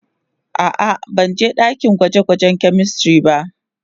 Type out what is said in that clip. A'a, ban je dakin gwaje-gwajen "chemistry" ba.